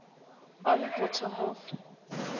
on bottom of